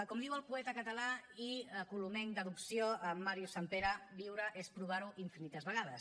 com diu el poeta català i colomenc d’adopció màrius sampere viure és provar ho infinites vegades